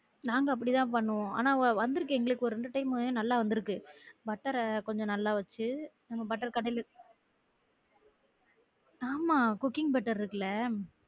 நாங்க அப்டி தான் பண்ணுவோம் ஆனா வந்துருக்கு எங்களுக்கு ஒரு ரெண்டு time நல்லா வந்துருக்கு butter அஹ் கொஞ்சம் நல்ல வச்சி butter ஆமா cooking butter இருக்குல